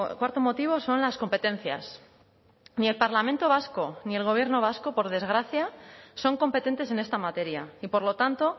cuarto motivo son las competencias ni el parlamento vasco ni el gobierno vasco por desgracia son competentes en esta materia y por lo tanto